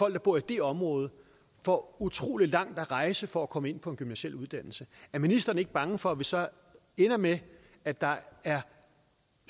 der bor i det område får utrolig langt at rejse for at komme ind på en gymnasial uddannelse er ministeren ikke bange for at det så ender med at der er